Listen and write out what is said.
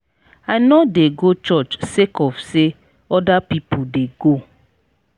i no dey go church sake of sey other pipu dey go.